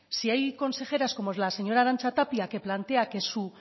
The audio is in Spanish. si hay consejeras como es la señora arantxa tapia que plantea